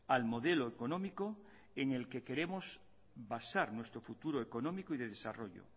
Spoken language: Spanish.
al modelo económico en el que queremos basar nuestro futuro económico y de desarrollo